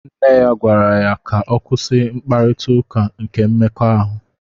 Nne ya gwara ya ka ọ kwụsị mkparita ụka nke mmekọahụ.